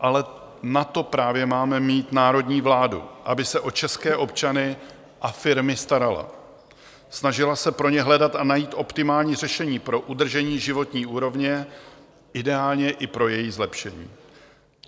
Ale na to právě máme mít národní vládu, aby se o české občany a firmy starala, snažila se pro ně hledat a najít optimální řešení pro udržení životní úrovně, ideálně i pro její zlepšení.